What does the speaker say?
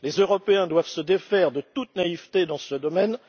Les Européens doivent se défaire de toute naïveté dans ce domaine.